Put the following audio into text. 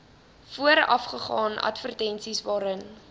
voorafgaan advertensies waarin